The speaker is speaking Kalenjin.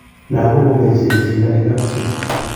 langok ko kecheik cheilali kap chii